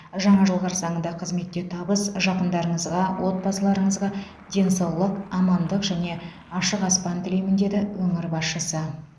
жаңа жыл қарсаңында қызметте табыс жақындарыңызға отбасыларыңызға денсаулық амандық және ашық аспан тілеймін деді өңір басшысы